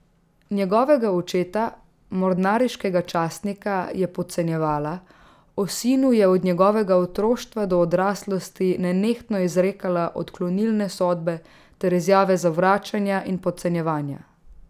Njegovega očeta, mornariškega častnika, je podcenjevala, o sinu je od njegovega otroštva do odraslosti nenehno izrekala odklonilne sodbe ter izjave zavračanja in podcenjevanja.